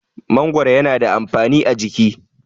mangoro yana da amfani a jiki